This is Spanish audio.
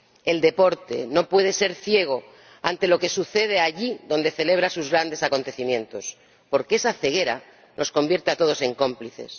El deporte no puede ser ciego ante lo que sucede allí donde celebra sus grandes acontecimientos, porque esa ceguera nos convierte a todos en cómplices.